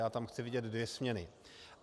Já tam chci vidět dvě směny.